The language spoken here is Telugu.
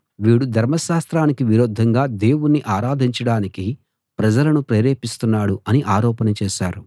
వీడు ధర్మశాస్త్రానికి విరుద్ధంగా దేవుణ్ణి ఆరాధించడానికి ప్రజలను ప్రేరేపిస్తున్నాడు అని ఆరోపణ చేశారు